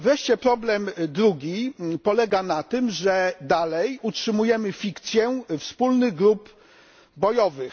Wreszcie problem drugi polega na tym, że dalej utrzymujemy fikcję wspólnych grup bojowych.